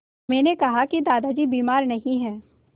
मैंने कहा कि दादाजी बीमार नहीं हैं